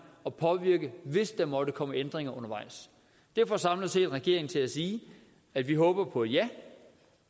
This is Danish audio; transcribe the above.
og påvirke hvis der måtte komme ændringer undervejs det får samlet set regeringen til at sige at vi håber på et ja